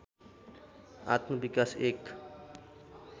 आत्मविकास एक